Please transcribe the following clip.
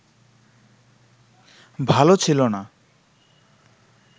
ভাল ছিল না